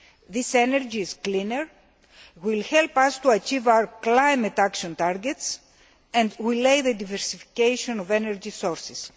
This energy is cleaner and will help us to achieve our climate action targets and the diversification of energy sources.